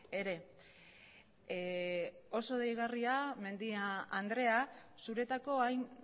ere oso deigarria mendia andrea zuretako hain